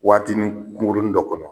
Waatinin kunkuruni dɔ kɔnɔ